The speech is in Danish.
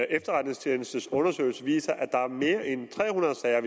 efterretningstjenestes undersøgelse viser at der ud af mere end tre hundrede sager